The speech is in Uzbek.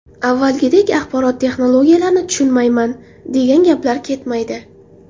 Avvalgidek axborot texnologiyalarini tushunmayman, degan gaplar ketmaydi.